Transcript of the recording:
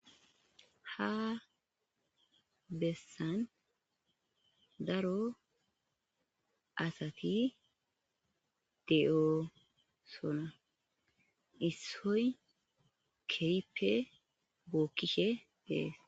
ha bessan daro asati de'osona issoy keyippe bookkishe dees